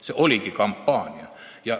See oligi kampaania.